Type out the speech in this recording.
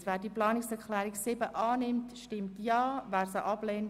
Sie haben die Planungserklärungen 2, 7 und 3 Buchstabe c abgelehnt.